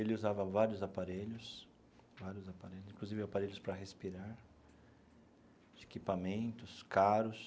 Ele usava vários aparelhos, vários aparelhos, inclusive aparelhos para respirar, equipamentos caros,